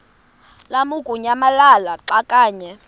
lamukunyamalala xa kanye